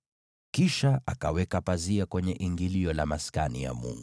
Kisha akaweka pazia kwenye ingilio la Maskani ya Mungu.